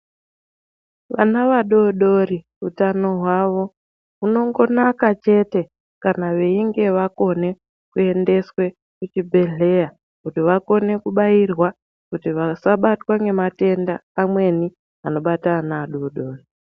Vana vadodori utano hwavo hunongonaka chete kana veinge vakone kuendeswa kuchibhedhlera kuti vakone kubairwa kuti vasabatwa ngematenda amweni anobata ana adodori .